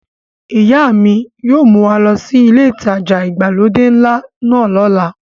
Ìyá mi yóò mú wa lọ sí ilé ìtajà ìgbàlódé ńlá náà lọ́la.